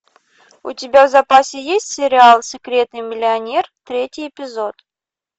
у тебя в запасе есть сериал секретный миллионер третий эпизод